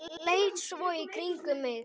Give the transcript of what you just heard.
Leit svo í kringum mig.